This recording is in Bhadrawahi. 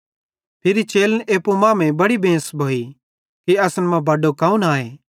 फिरी चेलन एप्पू मांमेइं बड़ी बेंस भोई कि असन मां बड्डो कौन आए